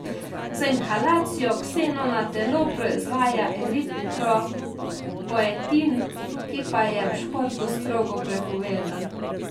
Z inhalacijo ksenona telo proizvaja eritropoietin, ki pa je v športu strogo prepovedan.